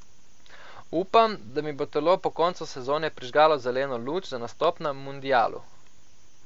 Upam, da mi bo telo po koncu sezone prižgalo zeleno luč za nastop na mundialu.